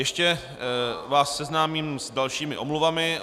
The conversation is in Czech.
Ještě vás seznámím s dalšími omluvami.